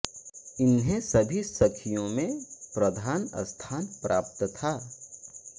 इन्हें सभी सखियों में प्रधान स्थान प्राप्त था